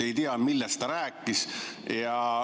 Ei tea, millest ta rääkis.